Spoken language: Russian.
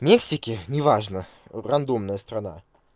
в мексике неважно рандомная страна